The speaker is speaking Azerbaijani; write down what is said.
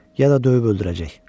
Ya da döyüb öldürəcək.